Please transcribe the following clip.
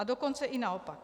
A dokonce i naopak.